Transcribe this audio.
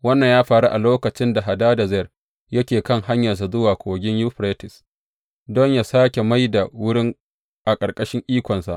Wannan ya faru a lokacin da Hadadezer yake kan hanyarsa zuwa Kogin Yuferites don yă sāke mai da wurin a ƙarƙashin ikonsa.